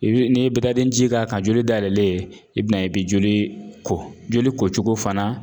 I bi n'i ye ji k'a kan ka joli dayɛlɛlen i bin'a ye i bi joli ko joli kocogo fana